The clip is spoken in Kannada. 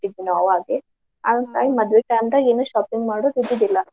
ನಾವು ಅಲ್ಲೇ ಹಾಂಗಾಗಿ ಮದ್ವಿ ಆ time ನ್ಯಾಗ್ ಏನು shopping ಮಾಡುದು ಇದ್ದಿದಿಲ್ಲಾ.